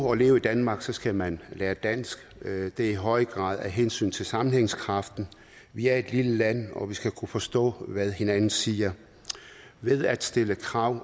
og leve i danmark skal man lære dansk det er i høj grad af hensyn til sammenhængskraften vi er et lille land og vi skal kunne forstå hvad hinanden siger ved at stille krav